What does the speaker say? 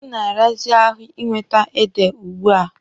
Ọ na-arazi ahụ ị nwete ede ugbua.